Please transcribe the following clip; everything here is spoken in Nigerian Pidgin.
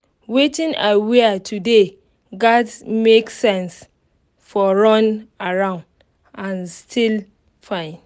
wetin i wear today gatz make sense for run around and still fine